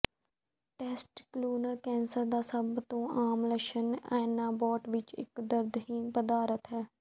testicular cancer ਦਾ ਸਭ ਤੋਂ ਆਮ ਲੱਛਣ ਐਨਾਬੋਟ ਵਿੱਚ ਇੱਕ ਦਰਦਹੀਣ ਪਦਾਰਥ ਹੈ